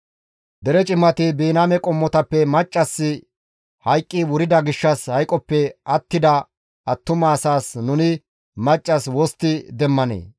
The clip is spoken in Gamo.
Dere cimati, «Biniyaame qommotappe maccassi hayqqi wurida gishshas hayqoppe attida attuma asaas nuni maccas wostti demmanee?